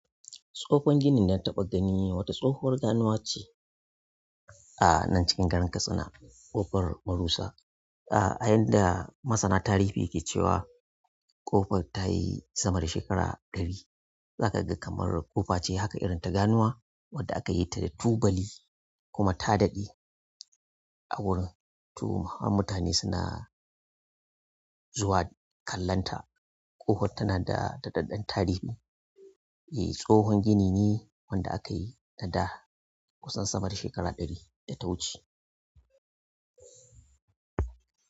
Tsohon gini dana taɓa gani wata tsohuwar ganuwa ce a nan cikin garin Katsina, ƙofar Marusa. A yanda masana tarihi ke cewa ƙofar ta yi sama da shekara ɗari. Zaka ga kamar ƙofa ce haka irin ta ganuwa wadda aka yi ta da tubali kuma ta daɗe. A wurin, toh, har mutane suna zuwa kallonta. Ƙofar tana da daɗaɗɗen tarihi. Eh, tsohon gini neh wanda aka yi ta da kusan sama da shekara ɗari da ta wuce.